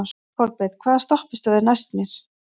Kolbeinn, hvaða stoppistöð er næst mér?